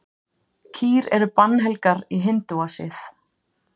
kýr eru bannhelgar í hindúasið